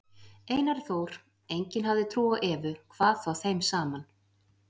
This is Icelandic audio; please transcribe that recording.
Einari Þór, enginn hafði trú á Evu, hvað þá þeim saman.